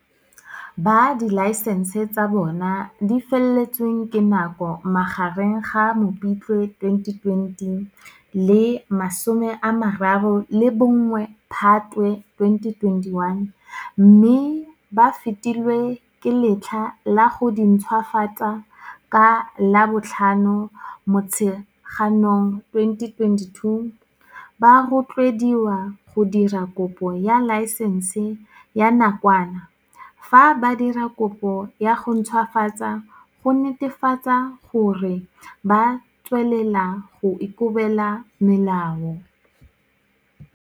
Ba dilaesense tsa bona di feletsweng ke nako magareng ga Mopitlwe 2020 le 31 Phatwe 2021, mme ba fetilwe ke letlha la go dintšhwafatsa ka la bo 5 Motsheganong 2022, ba rotloediwa go dira kopo ya laesense ya nakwana fa ba dira kopo ya go ntšhwafatsa go netefatsa gore ba tswelela go ikobela melao.